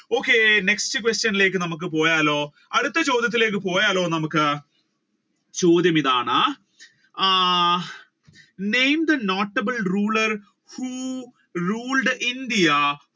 okay next question ലേക്ക് നമ്മുക്ക് പോയാലോ അടുത്ത ചോദ്യത്തിലേക്ക് നമ്മുക്ക് പോയാലോ ചോദ്യമിതാണ് ah name the notable rulers who ruled India